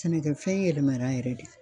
Sɛnɛkɛfɛn yɛlɛmara yɛrɛ de.